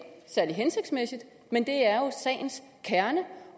særlig hensigtsmæssigt men det er jo sagens kerne